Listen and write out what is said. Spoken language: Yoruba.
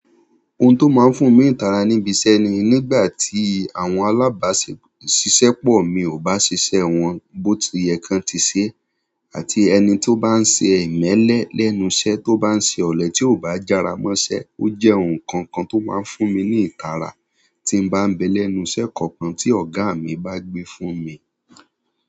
Ohun tó máa ń fún mi ní ìtàra níbi iṣẹ́ ni, nígbà tí àwọn alábàáṣiṣẹ́ pọ̀ mi ò bá ṣiṣẹ́ wọ́n bó ti yẹ kí ń tì ṣe, àti ẹni tó bá ń ṣe ìmẹ́lẹ́ lẹ́nu iṣẹ́ tó bá ń ṣe ọ̀lẹ́ tí ò bá jára mọ́ṣẹ́. Ó jẹ́ ohun kankan tó máa ń fún mi ní ìtara tí n bá ń bẹ lẹ́nu iṣẹ́ kankan tí ọ̀gá mi bá gbé fún mi.